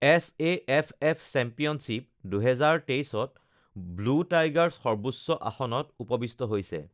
SAFF championship ২০২৩ ত Blue Tigers সৰ্বোচ্চ আসনত উপৱিষ্ট হৈছে!